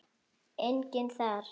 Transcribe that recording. Enginn þar.